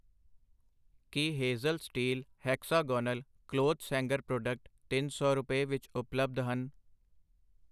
ਕੀ Hazel steel hexagonal clothes hanger product ਤਿੰਨ ਸੌ ਰੁਪਏ ਵਿੱਚ ਉਪਲਬਧ ਹਨ?